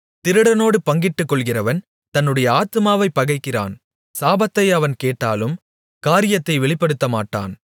திருடனோடு பங்கிட்டுக்கொள்ளுகிறவன் தன்னுடைய ஆத்துமாவைப் பகைக்கிறான் சாபத்தை அவன் கேட்டாலும் காரியத்தை வெளிப்படுத்தமாட்டான்